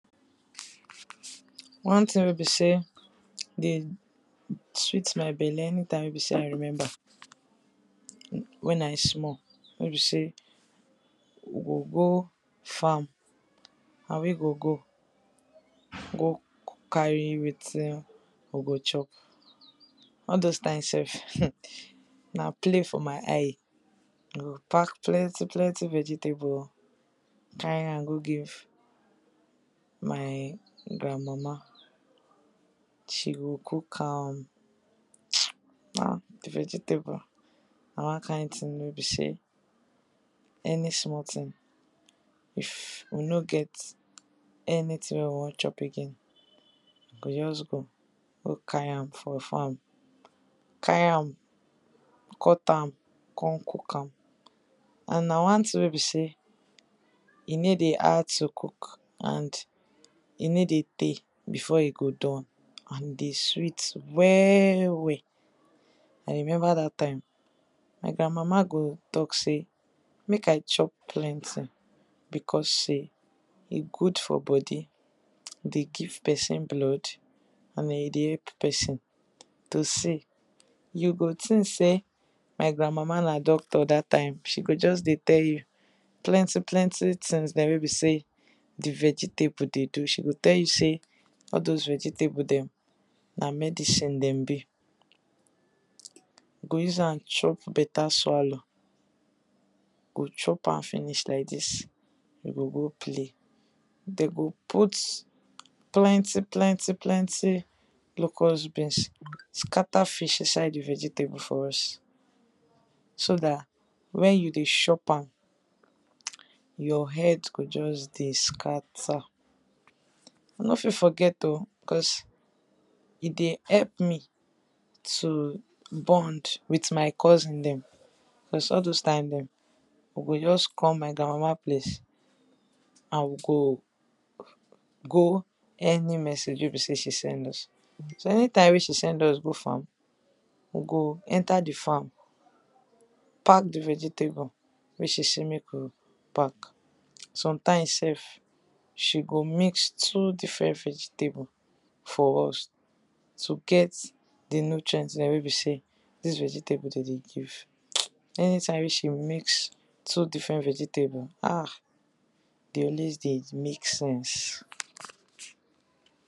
One thing wey be sey dey sweet my belle, anytime wey be sey I remember wen I small wey be sey we go go farm, na we go go, go carry wetin we go chop, all doz time sef na play for my eye. We go pack plenty plenty vegetable[um], carry am go give my grand mama, she go cook am[um], ah! Di vegetable na one kind thing wey be sey, any small thing if we no get anything wey we wan chop again, we go just go go carry am for farm. Carry am, cut am, con cook am, and na one thing wey be sey e no dey hard to cook and e nor dey tey before e go done, and e dey sweet well well, I remember dat time my grand mama go talk sey make I chop plenty because sey, e good for body, e dey give person blood, and e dey help person to see. You go think sey my grand mama na doctor dat time, she go just dey tell you plenty plenty things dem wey be sey di vegetables dey do. She go tell you sey all doz vegetables dem na medicine dem be, we go use am chop better swallow, we go chop am finish like dis, we go go play. Dem go put plenty plenty plenty locust beans, scatter fish inside di vegetable for us, so dat wen you dey shop am, your head go just dey scatter. I nor fit forget oh, cause e dey help me to bond with my cousin dem, cause all doz time dem, we go just come my grand mama place and we go go any message wey be sey she send us, so any time wey be sey she send us go farm, we go enter di farm, pack di vegetable make she sey make we pack, sometime sef, she go mix two different vegetable for us to get di nutrient dem wey be sey dis vegetable dem dey give Anytime wey she mix two different vegetable ah, e dey always dey make sense.